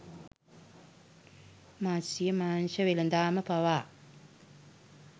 මත්ස්‍ය මාංශ වෙළෙඳාම පවා